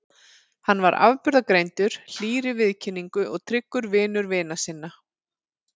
Hann var afburðagreindur, hlýr í viðkynningu og tryggur vinur vina sinna.